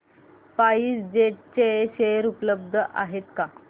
spice jet चे share उपलब्ध आहेत का